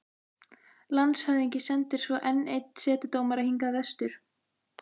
Landshöfðingi sendir svo enn einn setudómara hingað vestur.